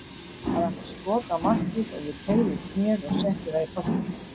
Hann átti skot á markið og ég teygði út hnéð og setti það í boltann.